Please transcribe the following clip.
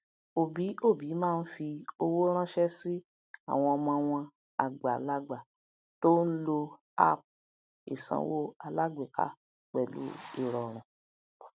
òbí òbí má n fí owó ránṣẹ sí àwọn ọmọ wọn àgbàlagbà tó n lo app ìsanwó alágbèéká pẹlú irọrun